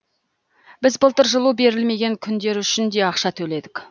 біз былтыр жылу берілмеген күндер үшін де ақша төледік